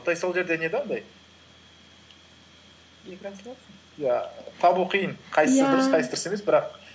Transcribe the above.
и сол жерде не де андай иә табу қиын дұрыс қайсысы дұрыс емес бірақ